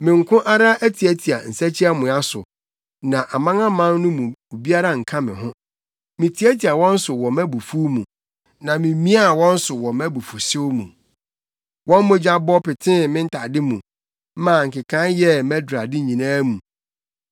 “Me nko ara atiatia nsakyiamoa so, na amanaman no mu obiara anka me ho. Mitiatia wɔn so wɔ mʼabufuw mu na mimiaa wɔn so wɔ mʼabufuwhyew mu; wɔn mogya bɔ petee me ntade mu, maa nkekae yɛɛ mʼadurade nyinaa mu.